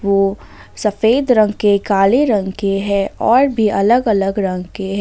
वो सफेद रंग के काले रंग के है और भी अलग अलग रंग के है।